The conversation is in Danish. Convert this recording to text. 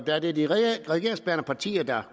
da det er de regeringsbærende partier der